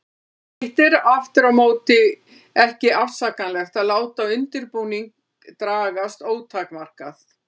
Hitt er aftur á móti ekki afsakanlegt að láta undirbúning dragast ótakmarkað.